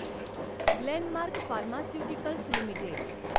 Glenmark pharmaceuticals limited